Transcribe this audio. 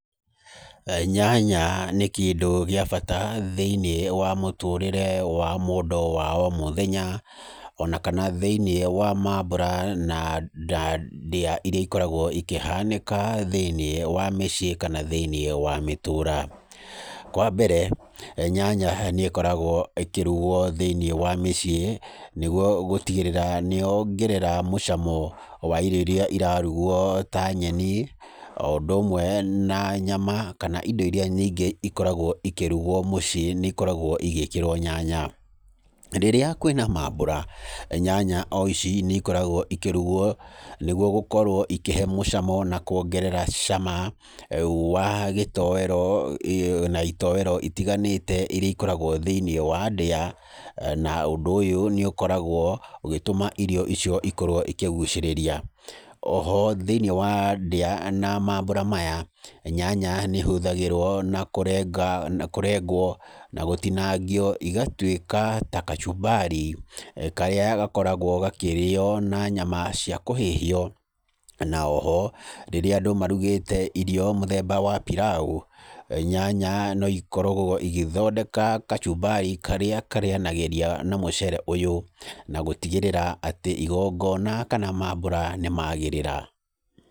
Nyanya nĩ kĩndũ gĩa bata thĩiniĩ wa mũtũrĩre wa mũndũ wa o mũthenya, ona kana thĩiniĩ wa mambũra na nda, ndĩa iria ikoragwo ikĩhanĩka thĩiniĩ wa mĩciĩ kana thĩiniĩ wa mĩtũũra. Kwambere nyanya nĩ ĩkoragwo ĩkĩrugwo thĩiniĩ wa mĩciĩ nĩgwo gũtigĩrĩra nĩyongerera mũcamo wa irio iria irarugwo ta nyeni oũndũ ũmwe na nyama, kana indo iria nyingĩ ikoragwo ikĩrugwo mũciĩ nĩikoragwo igĩkĩrwo nyanya. Rĩrĩa kwĩna mambũra, nyanya oici nĩikoragwo ikĩrugwo nĩgwo gũkorwo ikĩhe mũcamo na kwongerera cama wa gĩtoero na itoero itiganĩte iria ikoragwo thĩiniĩ wa ndĩa, na ũndũ ũyũ nĩũkoragwo ũgĩtũma irio icio ikorwo ikĩgucĩrĩria. Oho thĩiniĩ wa ndĩa na maambũra maya, nyanya nĩihũthagĩrwo na kũrenga, kũrengwo na gũtinangio igatuĩka ta kachumbari karĩa gakoragwo gakĩrĩywo na nyama cia kũhĩhio, na oho rĩrĩa andũ marugĩte irio mũthemba wa pilau, nyanya noikorogwo igĩthondeka kachumbari karĩa karĩanagĩria na mũceere ũyũ na gũtigĩrĩra atĩ igongona kana maambũra nĩmagĩrĩra.